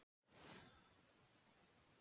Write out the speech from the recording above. En við megum búast við.